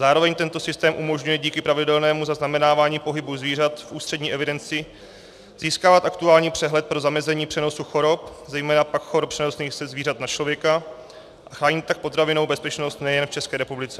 Zároveň tento systém umožňuje díky pravidelnému zaznamenávání pohybu zvířat v ústřední evidenci získávat aktuální přehled pro zamezení přenosu chorob, zejména pak chorob přenosných ze zvířat na člověka, a chrání tak potravinovou bezpečnost nejen v České republice.